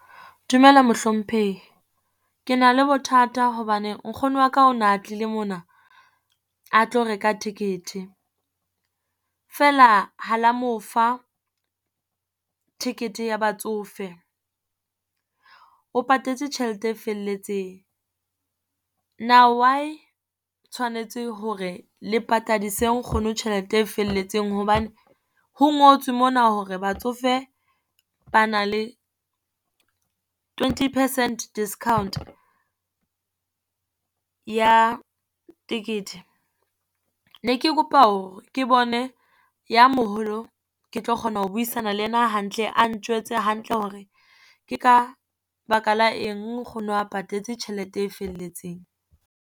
Dumela mohlomphehi. Ke na le bothata hobane nkgono wa ka o na tlile mona a tlo reka ticket. Feela ha la mo fa ticket ya batsofe, o patetse tjhelete e felletseng. Now why tshwanetse hore le patadise nkgono tjhelete e felletseng hobane, ho ngotswe mona hore batsofe ba na le twenty percent discount ya tekete? Ne ke kopa hore ke bone ya moholo, ke tlo kgona ho buisana le ena hantle, a njwetse hantle hore ke ka baka la eng nkgono o patetse tjhelete e felletseng.